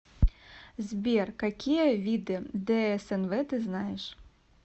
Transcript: сбер какие виды дснв ты знаешь